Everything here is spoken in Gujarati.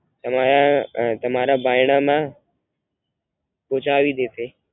અને આ તમારા બાયણાંમાં પહોંચવી દેશે